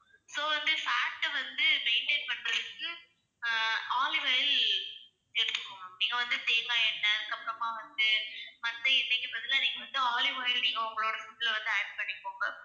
so வந்து fat அ வந்து maintain பண்றதுக்கு ஆஹ் olive oil எடுத்துக்கோங்க. நீங்க வந்து தேங்காய் எண்ணெய் அதுக்கப்பறமா வந்து மத்த எண்ணெய்க்கு பதிலா நீங்க வந்து olive oil அ வந்து உங்க food ல add பண்ணிக்கோங்க.